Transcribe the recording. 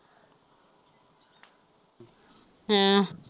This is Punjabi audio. ਹਾਂ